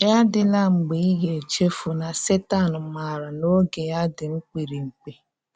Yà adị́lá mgbe ị ga-echefù na Sétan maára na oge ya dị́ mkpírípkí.